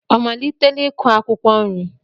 Ọ malitela ịkụ akwụkwọ nri?